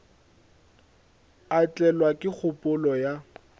a tlelwa ke kgopolo ya